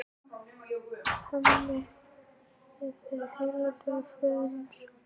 Hemmi vinnur sem fyrr í heildsölu föður síns.